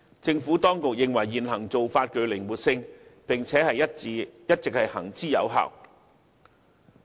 政府當局認為現行做法具靈活性，並且一直行之有效。